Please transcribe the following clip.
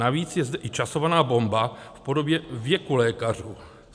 Navíc je zde i časovaná bomba v podobě věku lékařů.